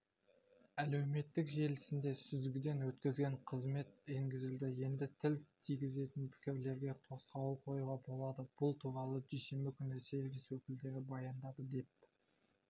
әлеуметтік желісінде сүзгіден өткізетін қызмет енгізілді енді тіл тигізетін пікірлерге тосқауыл қоюға болады бұл туралы дүйсенбі күні сервис өкілдері баяндады деп